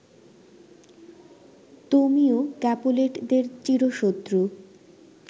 তোমিও ক্যাপুলেটদের চিরশত্রু